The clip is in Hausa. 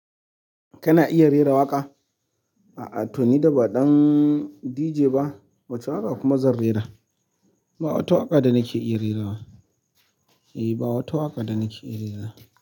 Kana iya rera waƙa? A'a. Toni da ba ɗan DJ ba, wacce waƙa kuma zan rera. Ba wata waƙa da nake iya rera ba. Eh, ba wata waƙa da nake iya rera.